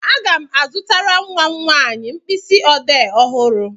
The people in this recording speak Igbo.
Aga m azụtara nwa m nwanyị mkpịsị ọdee ọhụrụ.